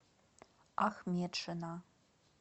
ахметшина